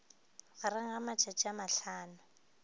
gareng ga matšatši a mahlano